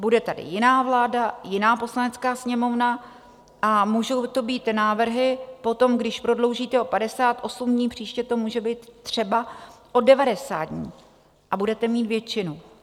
Bude tady jiná vláda, jiná Poslanecká sněmovna a můžou to být návrhy potom - když prodloužíte o 58 dní, příště to může být třeba o 90 dní a budete mít většinu.